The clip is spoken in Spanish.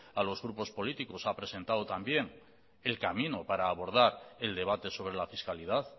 a los grupos políticos ha presentado también el camino para abordar el debate sobre la fiscalidad